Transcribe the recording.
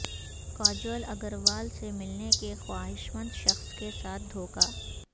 کاجول اگروال سے ملنے کے خواہشمند شخص کے ساتھ دھوکا